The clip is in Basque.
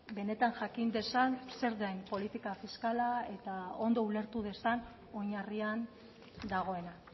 benetan jakin dezan zer den politika fiskala eta ondo ulertu dezan oinarrian dagoena